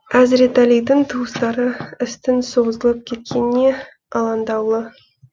әзіретәлидің туыстары істің созылып кеткеніне алаңдаулы